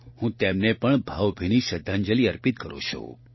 હું તેમને પણ ભાવભીની શ્રદ્ધાંજલિ અર્પિત કરું છું